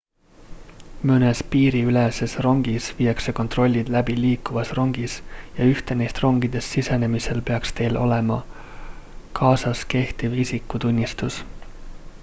mõnes piiriüleses rongis viiakse kontrollid läbi liikuvas rongis ja ühte neist rongidest sisenemisel peaks teil olema kaasas kehtiv isikutunnistus